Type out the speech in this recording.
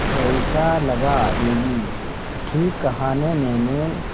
कैसा लगा दीदी ठीक कहा न मैंने